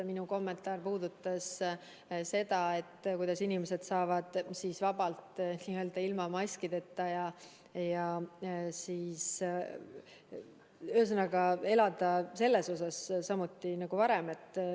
Minu kommentaar puudutas seda, kuidas inimesed saavad vabalt ilma maskideta liikuda ja, ühesõnaga, elada selles mõttes samamoodi nagu varem.